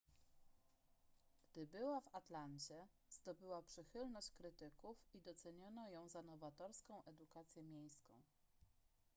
gdy była w atlancie zdobyła przychylność krytyków i doceniono ją za nowatorską edukację miejską